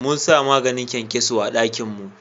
Mun sa maganin kyankyaso a dakin mu